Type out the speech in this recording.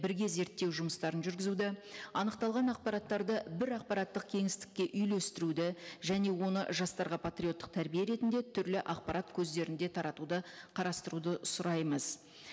бірге зерттеу жұмыстарын жүргізуді анықталған ақпараттарды бір ақпараттық кеңістікке үйлестіруді және оны жастарға патриоттық тәрбие ретінде түрлі ақпарат көздерінде таратуды қарастыруды сұраймыз